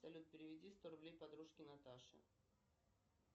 салют переведи сто рублей подружке наташе